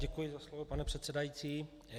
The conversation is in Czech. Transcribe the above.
Děkuji za slovo, pane předsedající.